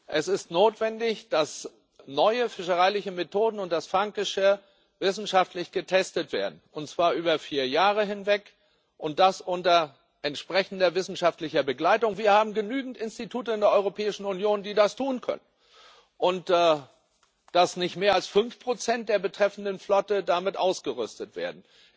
Es ist notwendig, dass neue fischereiliche Methoden und das Fanggeschirr wissenschaftlich getestet werden, und zwar über vier Jahre hinweg und unter entsprechender wissenschaftlicher Begleitung wir haben genügend Institute in der Europäischen Union, die das tun können und dass nicht mehr als 5 der betreffenden Flotte damit ausgerüstet werden.